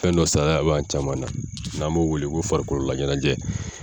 Fɛn dɔ saliya b'an caman na n'an b'o wele ko farikololaɲɛnajɛ